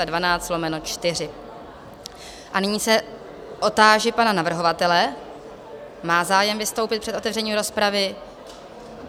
A nyní se otáži pana navrhovatele, má zájem vystoupit před otevřením rozpravy?